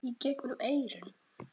Í gegnum eyrun.